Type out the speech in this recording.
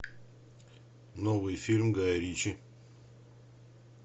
новый фильм гая ричи